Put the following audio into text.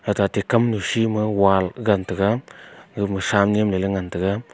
athe te kamnu shi ma wall gagan taiga aga ma Shan niam ley ley ngan taiga.